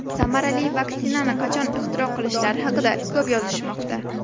Samarali vaksinani qachon ixtiro qilishlari haqida ko‘p yozishmoqda.